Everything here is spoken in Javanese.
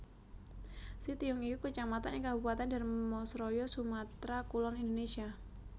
Sitiung iku Kecamatan ing Kabupatèn Dharmasraya Sumatra Kulon Indonesia